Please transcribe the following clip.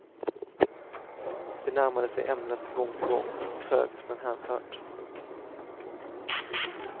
De närmade sig ämnet gång på gång, trögt men hänfört.